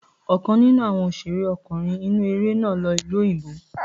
Ọ̀kan nínú àwọn òṣèré ọkùnrin inú eré náà lọ ìlú òyìnbó.